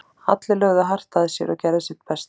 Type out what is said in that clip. Allir lögðu hart að sér og gerðu sitt besta.